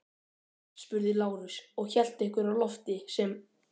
spurði Lárus og hélt einhverju á lofti sem